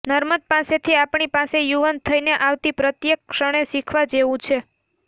નર્મદ પાસેથી આપણી પાસે યુવાન થઈને આવતી પ્રત્યેક ક્ષણે શીખવા જેવું છે